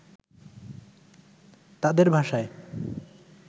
তাদের ভাষায়